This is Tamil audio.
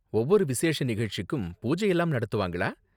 ஒவ்வொரு விசேஷ நிகழ்ச்சிக்கும், பூஜை எல்லாம் நடத்துவாங்களா?